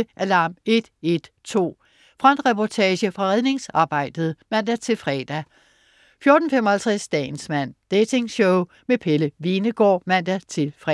14.20 Alarm 112. Frontreportage fra redningsarbejdet (man-fre) 14.55 Dagens mand. Dating-show med Pelle Hvenegaard (man-fre)